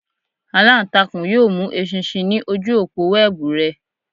Alantakun yoo mu eṣinṣin ni oju opo wẹẹbu rẹ.